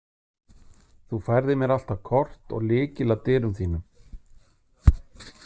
Þú færðir mér alltaf kort og lykil að dyrum þínum.